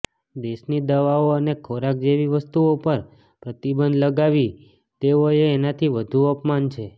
દેશની દવાઓ અને ખોરાક જેવી વસ્તુઓ પર પ્રતિબંધ લગાવી દેવો એ એનાથી વધુ અપમાન છે